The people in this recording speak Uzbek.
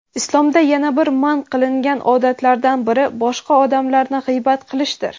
Islomda yana bir man qilingan odatlardan biri boshqa odamlarni g‘iybat qilishdir.